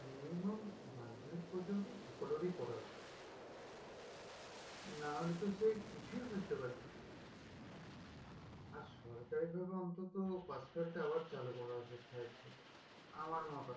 minimum মাধ্যমিক পর্যন্ত সকলেরই করা উচিত না হলে তো সে কিছুই বুঝতে পারবে না আর সরকারি ভাবে অন্তত pass fail টা আবার চালু করা উচিত five থেকে আমার মতামত